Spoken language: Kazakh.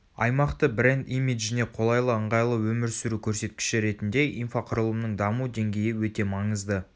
аймақты бренд имиджіне қолайлы ыңғайлы өмір сүру көрсеткіші ретінде инфрақұрылымның даму деңгейі өте маңызды